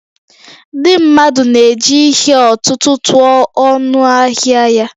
Ndị mmadụ na-eji ihe ọ̀tụ̀tụ̀ tụọ ọnụ ahịa ya